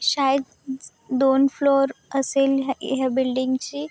शायद दोन फ्लोर असेल हे ह्या बिल्डिंग ची--